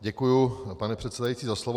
Děkuji, pane předsedající, za slovo.